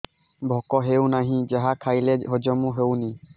ଭୋକ ହେଉନାହିଁ ଯାହା ଖାଇଲେ ହଜମ ହଉନି